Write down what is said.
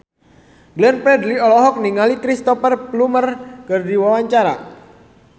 Glenn Fredly olohok ningali Cristhoper Plumer keur diwawancara